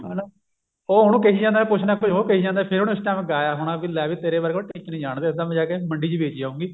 ਹਨਾ